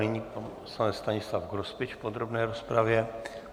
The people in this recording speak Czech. Nyní pan poslanec Stanislav Grospič v podrobné rozpravě.